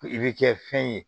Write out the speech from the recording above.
I bɛ kɛ fɛn ye